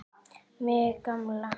Mig gamla.